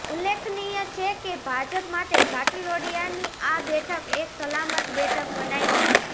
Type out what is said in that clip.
ઉલ્લેખનીય છે કે ભાજપ માટે ઘાટલોડિયાની આ બેઠક એક સલામત બેઠક મનાય છે